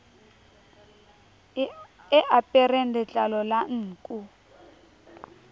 e apereng letlalo la nku